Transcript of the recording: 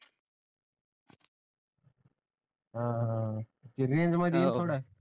अं रेंजमध्ये ये थोडा